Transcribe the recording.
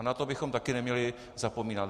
A na to bychom taky neměli zapomínat.